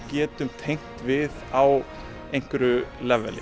getum tengt við á einhverju